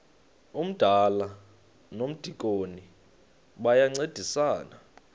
umdala nomdikoni bayancedisana